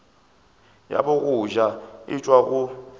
ya bogoja e tšwa go